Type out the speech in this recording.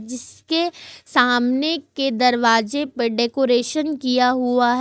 जिसके सामने के दरवाजे पर डेकोरेशन किया हुआ है।